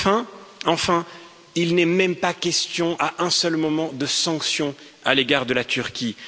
Enfin, enfin, il n'est même pas question à un seul moment de sanctions à l'égard de la Turquie.